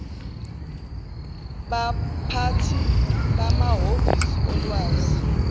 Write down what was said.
baphathi bamahhovisi olwazi